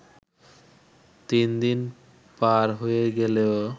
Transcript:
তিনদিন পার হয়ে গেলেও